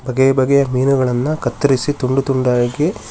ಬಗೆಯ ಬಗೆಯ ಮೀನುಗಳನ್ನ ಕತ್ತರಿಸಿ ತುಂಡು ತುಂಡಾಗಿ --